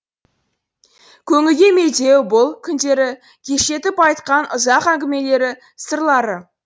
көңілге медеу бұл күндері кештетіп айтқан ұзақ әңгімелері сырлары